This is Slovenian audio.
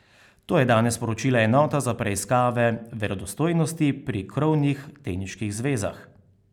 To je danes sporočila enota za preiskave verodostojnosti pri krovnih teniških zvezah.